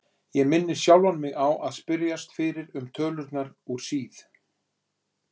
Ég minni sjálfan mig á að spyrjast fyrir um tölurnar úr síð